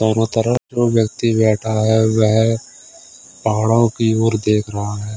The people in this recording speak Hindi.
चारो तरफ वह व्यक्ति बैठा है वह पहाड़ों की ओर देख रहा है।